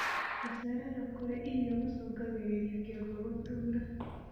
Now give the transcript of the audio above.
Gucererwo kurĩa irio gucungagirirĩa kĩongo gutuura